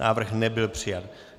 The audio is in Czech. Návrh nebyl přijat.